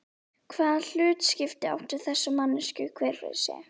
Hvaða hlutskipti áttu þessar manneskjur hver fyrir sig?